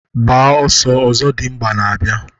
Gbaa ọsọọ! Ọzọdimgba na-abịa